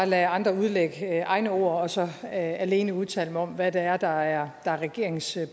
lade andre udlægge egne ord og så vil jeg alene udtale mig om hvad det er der er regeringens